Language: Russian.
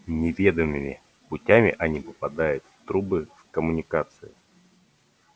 неведомыми путями они попадают в трубы в коммуникации